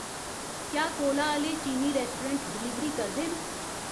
क्या कोला आह्ले चीनी रैस्टोरैंट डलीवरी करदे न